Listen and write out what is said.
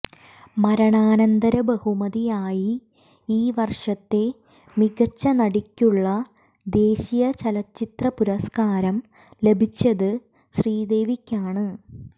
മരണാനന്തര ബഹുമതിയായി ഈ വര്ഷത്തെ മികച്ച നടിയ്ക്കുള്ള ദേശീയ ചലച്ചിത്ര പുരസ്കാരം ലഭിച്ചത് ശ്രീദേവിയ്ക്കാണ്